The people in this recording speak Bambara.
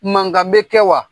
Mankan bɛ kɛ wa?